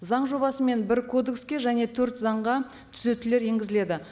заң жобасымен бір кодекске және төрт заңға түзетулер енгізіледі